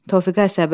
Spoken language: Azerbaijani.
Tofiq əsəbi.